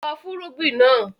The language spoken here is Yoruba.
Lọ fúnrúgbìn náà!